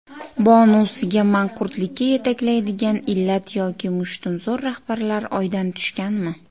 Bonusiga Manqurtlikka yetaklaydigan illat yoki mushtumzo‘r rahbarlar Oydan tushganmi?